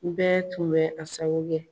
Ni bɛ tun bɛ a sago kɛ.